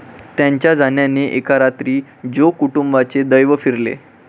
त्यांच्या जाण्याने एका रात्रीत जोग कुटुंबाचे दैव फिरले.